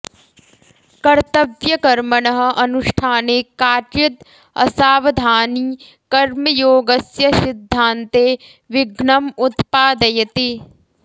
कर्तव्यकर्मणः अनुष्ठाने काचिद् असावधानी कर्मयोगस्य सिद्धान्ते विघ्नम् उत्पादयति